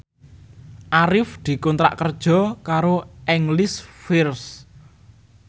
Arif dikontrak kerja karo English First